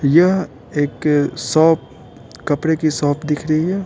यह एक शॉप कपड़े की शॉप दिख रही है।